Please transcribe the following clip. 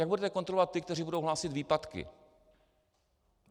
Jak budete kontrolovat ty, kteří budou hlásit výpadky?